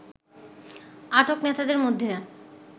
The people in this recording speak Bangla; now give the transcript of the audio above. আটক নেতাদের মধ্যে